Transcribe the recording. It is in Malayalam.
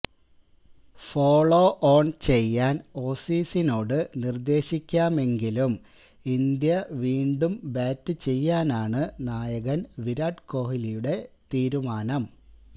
ഫോളോ ഓണ് ചെയ്യാന് ഓസീസിനോട് നിര്ദ്ദേശിക്കാമെങ്കിലും ഇന്ത്യ വീണ്ടും ബാറ്റ് ചെയ്യാനാണ് നായകന് വിരാട് കോഹ്ലിയുടെ തീരുമാനം